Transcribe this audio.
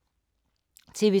TV 2